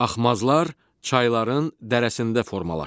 Axmazlar çayların dərəsində formalaşır.